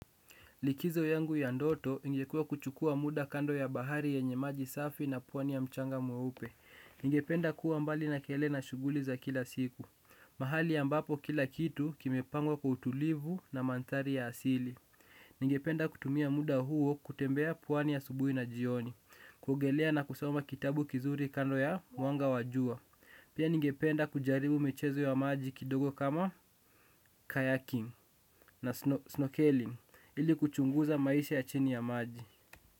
Likizo yangu ya ndoto ingekuwa kuchukua muda kando ya bahari yenye maji safi na pwani ya mchanga mweupe. Ningependa kuwa mbali na kelele na shughuli za kila siku. Mahali ambapo kila kitu kimepangwa kwa utulivu na mandhari ya asili. Ningependa kutumia muda huo kutembea pwani asubuhi na jioni. Kuogelea na kusoma kitabu kizuri kando ya wanga wa jua. Pia ningependa kujaribu michezo ya maji kidogo kama kayaking na snorkeling. Ili kuchunguza maisha ya chini ya maji.